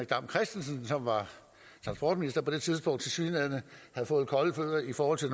dam christensen som var transportminister på det tidspunkt tilsyneladende havde fået kolde fødder i forhold til